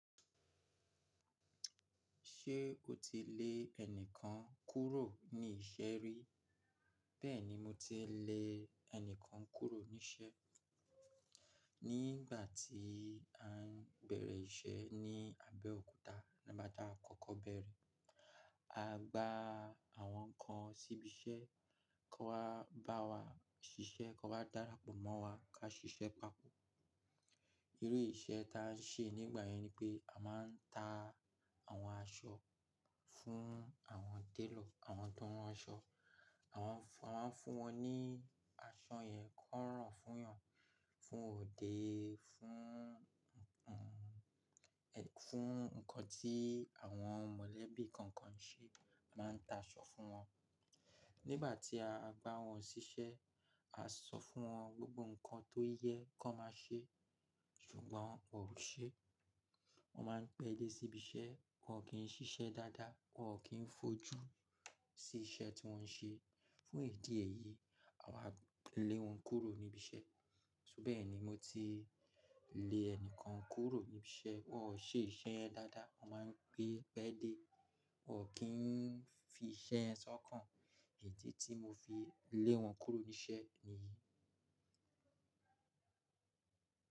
Ṣé o ti lè ẹnìkan kúrò ní iṣẹ́ rí? Bẹ́ẹ̀ni mo ti lè ẹnìkan kúrò ní iṣẹ́. Nígbà tí à ń bẹ̀rẹ̀ iṣẹ́ ní Abẹ́òkúta, nígbà tá kọ́kọ́ bẹ̀rẹ̀, a gba àwọn kan síbi iṣẹ́ kó wá bá wa ṣiṣẹ́, kó wá darapo mọ́ wa ká ṣe iṣẹ́ papọ̀. Irú iṣẹ́ ta à ń ṣe nígbà yẹn ni pé a máa ń ta àwọn aṣọ fún àwọn télọ̀, àwọn tó ran aṣọ. A máa fún wọn ní aṣọ yẹn kó rọ̀ fún yàn, fún òde, fún nǹkan tí àwọn mọ̀lẹ́bí kọ̀ọ̀kan se, a máa ń ta aṣọ fún wọn. Nígbà tí a bá wọn síṣẹ́, a sọ fún wọn gbogbo nǹkan tó yẹ kó má ṣe ṣùgbọ́n wọn ò ṣe é. Wọ́n máa ń pẹ́ dé sí ibi iṣẹ́, wọn ò kí ń ṣiṣẹ́ dáadáa, wọn ò kí ń fojú sí iṣẹ́ tí wọ́n ṣe. Fún ìdí èyí, àwa lè wọ́n kúrò níbi iṣẹ́. So bẹ́ẹ̀ ni mo ti lè ẹnìkan kúrò níbi iṣẹ́, wọn ò ṣe iṣẹ́ yẹn dáadáa, wọn máa ń gbé pẹ́ dé, wọn ò kí ń fi iṣẹ́ yẹn sọ́kàn. Idí tí mo fi lè wọn kúrò ní iṣẹ́ nìyí.